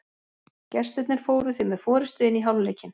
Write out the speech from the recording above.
Gestirnir fóru því með forystu inn í hálfleikinn.